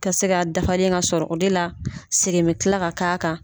Ka se k'a dafalen ka sɔrɔ. O de la segin bɛ tila ka k'a kan.